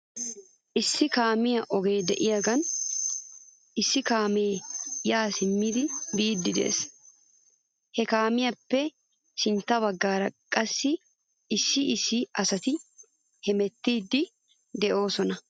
Issi kaamiyaa ogee de'iyaagan issi kaamee yaa simmidi biiddi des. He kaamiyaappe sintta bagaara qassi issi issi asati hemettiiddi doosona.